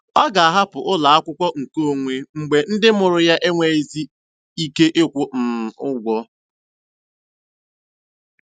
Ọ ga-ahapụ ụlọ akwụkwọ nkeonwe mgbe ndị mụrụ ya enweghịzi ike ịkwụ um ụgwọ.